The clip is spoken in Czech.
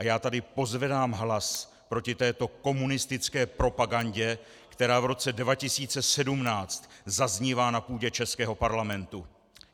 A já tady pozvedám hlas proti této komunistické propagandě, která v roce 2017 zaznívá na půdě českého parlamentu!